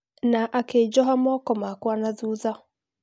Na akĩnjoha moko makwa nathutha